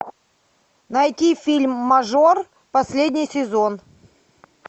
найти фильм мажор последний сезон